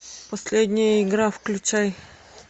последняя игра включай